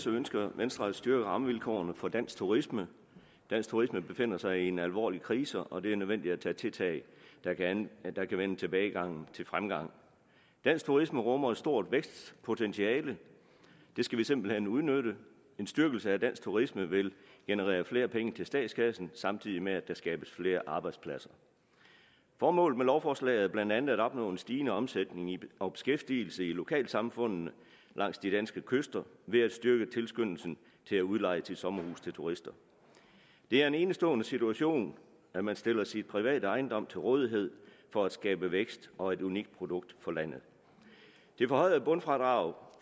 ønsker venstre at styrke rammevilkårene for dansk turisme dansk turisme befinder sig i en alvorlig krise og det er nødvendigt med tiltag der kan vende tilbagegangen til fremgang dansk turisme rummer et stort vækstpotentiale det skal vi simpelt hen udnytte en styrkelse af dansk turisme vil generere flere penge til statskassen samtidig med at der skabes flere arbejdspladser formålet med lovforslaget er blandt andet at opnå en stigende omsætning og beskæftigelse i lokalsamfundene langs de danske kyster ved at styrke tilskyndelsen til at udleje sommerhuse til turister det er en enestående situation at man stiller sin private ejendom til rådighed for at skabe vækst og et unikt produkt for landet det forhøjede bundfradrag